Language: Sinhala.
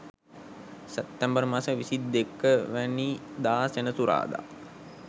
සැප්තැම්බර් මස 22 වැනි දා සෙනසුරාදා